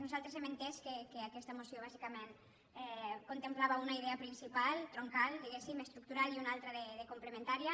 nosaltres hem entès que aquesta moció bàsicament contemplava una idea principal troncal diguéssim estructural i una altra de comple·mentària